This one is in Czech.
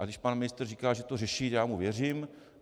A když pan ministr říká, že to řeší, já mu věřím.